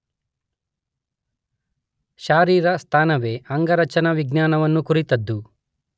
ಶಾರೀರಸ್ಥಾನವೇ ಅಂಗರಚನಾವಿಜ್ಞಾನವನ್ನು ಕುರಿತದ್ದು.